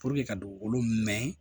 ka dugukolo nɛgɛn